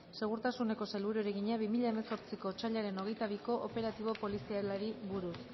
segurtasuneko sailburuari egina bi mila hemezortziko otsailaren hogeita biko operatibo polizialari buruz